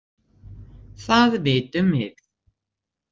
Það vitum við.